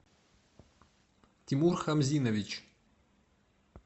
тимур хамзинович